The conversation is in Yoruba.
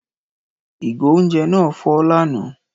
Ìgò oúnjẹ náà fọ́ lánàá